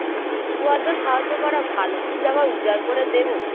একটু আধটু সাহায্য করা ভালো কিন্তু আবার উজাড় করে দেব